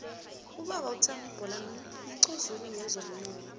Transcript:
ubaba uthami bholana mqozululi wezomnotho